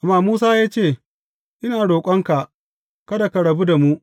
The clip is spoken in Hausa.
Amma Musa ya ce, Ina roƙonka kada ka rabu da mu.